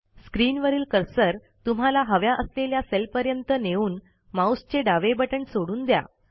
स्क्रीनवरील cursor तुम्हाला हव्या असलेल्या सेलपर्यंत नेऊन माऊसचे डावे बटण सोडून द्या